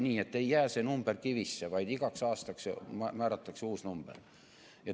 See number ei ole kunagi kivisse raiutud, vaid igaks aastaks määratakse uus number.